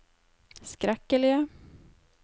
skrekkelige